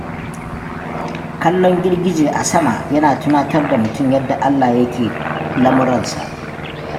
Kallon girgije a sama yana tunatar da mutum yadda Allah ya ke lamuransa.